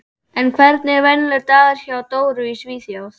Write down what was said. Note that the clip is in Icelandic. En hvernig er venjulegur dagur hjá Dóru í Svíþjóð?